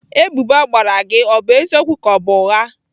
Ebubo a gbara gị bụ eziokwu ka ọ bụ ụgha?